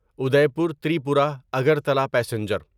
Udaipur Tripura Agartala passenger